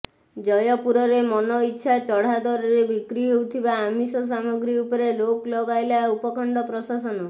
ଜୟପୁରରେ ମନ ଇଛା ଚଢା ଦରରେ ବିକ୍ରି ହେଉଥିବା ଆମିଷ ସାମଗ୍ରୀ ଉପରେ ରୋକ ଲଗାଇଲା ଉପଖଣ୍ଡ ପ୍ରଶାସନ